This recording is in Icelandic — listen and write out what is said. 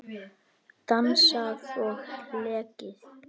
Dansað og hlegið.